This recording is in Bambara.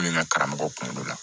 Ne n ka karamɔgɔ kunkolo la